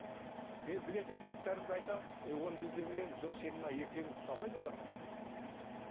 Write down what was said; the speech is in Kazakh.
мен білетін кітаптарымды айтамын өй оны біз де білеміз жоқ сенің мына ертегің ұқсамайды оларға